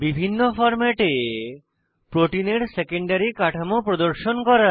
বিভিন্ন ফরম্যাটে প্রোটিনের সেকেন্ডারী কাঠামো প্রদর্শন করা